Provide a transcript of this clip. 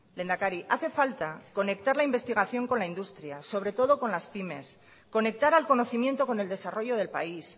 lehendakari hace falta conectar la investigación con la industria sobre todo con las pymes conectar al conocimiento con el desarrollo del país